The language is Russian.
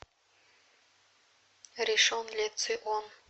ришон ле цион